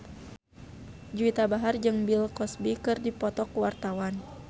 Juwita Bahar jeung Bill Cosby keur dipoto ku wartawan